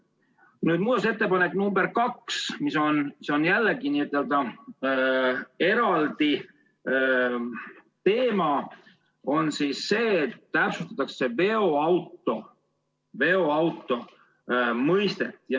Muudatusettepanek nr 2 käsitleb veidi eraldi teemat, sellega täpsustatakse veoauto mõistet.